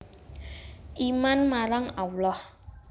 Iman marang Allah